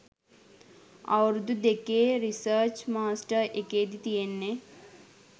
අවුරුදු දෙකේ research master එකේදි තියෙන්නෙ